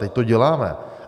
Teď to děláme.